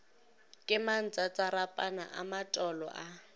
ke mantsatsarapana a matolo a